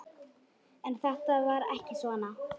En þetta var ekki svona.